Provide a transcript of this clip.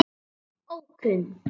Móðir: Ókunn.